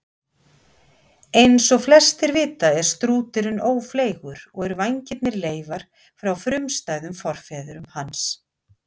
Eins og flestir vita er strúturinn ófleygur og eru vængirnir leifar frá frumstæðum forfeðrum hans.